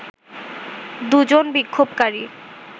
দুজন বিক্ষোভকারী